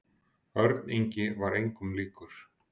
Örn Ingi var engum líkur.